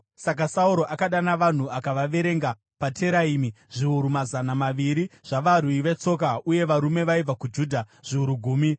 Saka Sauro akadana vanhu akavaverenga paTeraimi, zviuru mazana maviri zvavarwi vetsoka uye varume vaibva kuJudha zviuru gumi.